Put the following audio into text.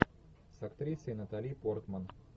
с актрисой натали портман